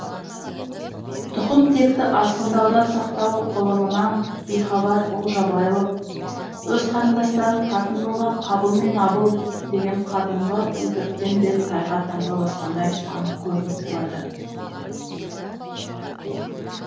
тұқым текті азғындаудан сақтау ғылымынан бейхабар ол жабайылық өз қарындастарын қатын қылған қабыл мен абыл деген қадымғы өтіріктен де тайға таңба басқандай анық көрініп тұрады